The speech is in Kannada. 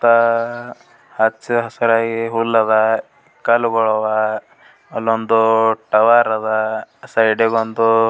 ಸುತ್ತ ಹಚ್ಚ ಹಸ್ರಾಗಿ ಹುಲ್ಲ್ ಅದ್ ಕಲ್ಲುಗಳ್ ಅವ್ ಅಲ್ಲೊಂದು ದೊಡ್ಡ ಟವರ್ ಅದ್ ಸೈಡಿಗೊಂದು .